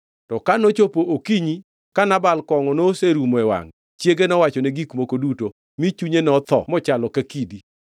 To ka nochopo okinyi ka Nabal kongʼo noserumo e wangʼe, chiege nowachone gik moko duto, mi chunye notho mochalo ka kidi.